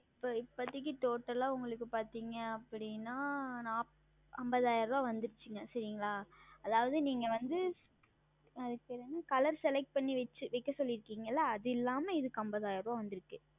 இப்பொழுது இப்போதைக்கு Total ஆ உங்களுக்கு பார்த்தீர்கள் அப்படி என்றால் ஐம்பதாயிரம் வந்து விட்டது சரிங்களா அதாவது நீங்கள் வந்து அதற்கு பெயர் என்ன ColorSelect செய்து வைக்க சொல்லி இருக்கிறீர்கள் அல்லவா அது இல்லாமல் இதற்கு ஐம்பதாயிரம் வந்து இருக்கிறது